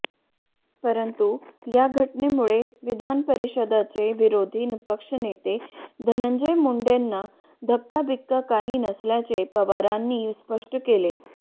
परंतु या घटनेमुळे विधानपरिषदेचे विरोधी पक्ष नेते धनंजय मुंडेंना धक्काबिक्का काही नसल्याचे पवारांनी स्पष्ट केले